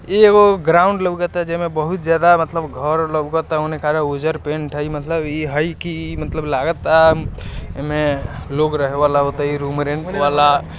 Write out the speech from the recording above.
ई एगो ग्राउंड लगाता जेमे बहुत ज्यादा मतलब घर लगाता उजर पेंट हाई मतलब ई हाई की मतलब ई मतलब लागता ऐमे लोग रेहवे ला रूम रेंट वाला--